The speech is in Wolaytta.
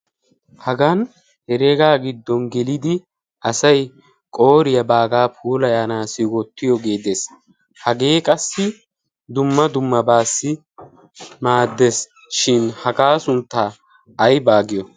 hagan hereegaa giddon gelidi asay qooriyaabaagaa pulayaanaa siwottiyo geedees hagee qassi dumma dumma baassi maaddees. shin hagaa sunttaa aybaa giyo?